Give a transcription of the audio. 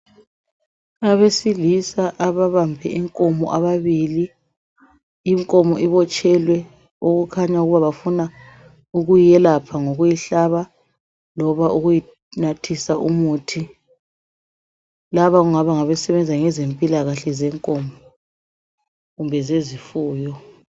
abesilisa ababambe inkomo ababili inkomo ibotshelwe okukhanya ukuthi bafuna ukuyelapha ngokuyihlaba loba ukuyinathisa umuthi laba kungaba ngabasebenza ngezempilakahle zenkomo kumbe zezefuyo